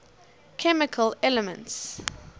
chemical elements